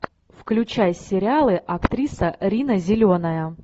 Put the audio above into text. включай сериалы актриса рина зеленая